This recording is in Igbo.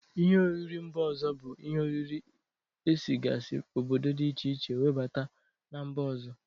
Ihe oriri mba ọzọ bụ ihe oriri esigasi obodo dị iche iche nwebata na mba ọzọ.